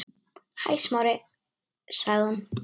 Hæ, Smári- sagði hún.